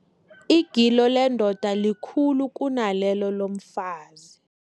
Igilo lendoda likhulu kunalelo lomfazi.